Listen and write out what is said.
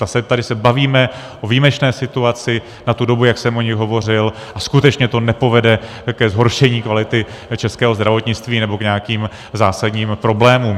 Tady se bavíme o výjimečné situaci na tu dobu, jak jsem o ní hovořil, a skutečně to nepovede ke zhoršení kvality českého zdravotnictví nebo k nějakým zásadním problémům.